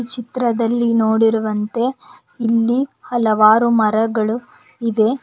ಚಿತ್ರದಲ್ಲಿ ನೋಡಿರುವಂತೆ ಇಲ್ಲಿ ಹಲವಾರು ಮರಗಳು ಇದೆ.